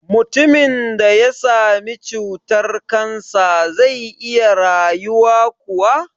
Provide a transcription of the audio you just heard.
Mutumin da ya sami cutar-kansa zai iya rayuwa kuwa?